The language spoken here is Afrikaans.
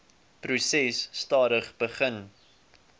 proses stadig begin